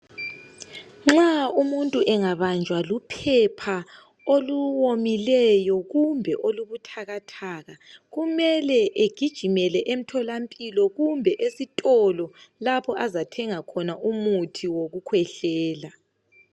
Nxa umuntu engabanjwa luphepha oluwomileyo kumbe olubuthakathaka kumele egijimele emtholampilo kumbe esitolo lapho azathenga khona umuthi wokukhwehlela.